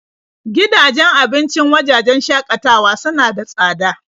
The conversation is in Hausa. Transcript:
Gidajen abincin wajajen shakatawa suna da tsada.